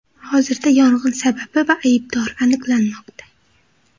Hozirda yong‘in sababi va aybdori aniqlanmoqda.